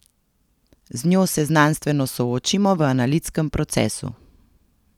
Z njo se znanstveno soočimo v analitskem procesu.